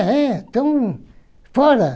É, então, fora!